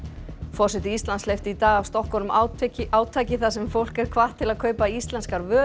forseti Íslands hleypti í dag af stokkunum átaki átaki þar sem fólk er hvatt til þess að kaupa íslenskar vörur